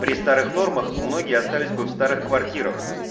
при старых нормах многие остались бы в старых квартирах